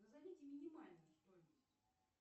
назовите минимальную стоимость